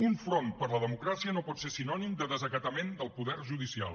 un front per la democràcia no pot ser sinònim de desacatament del poder judicial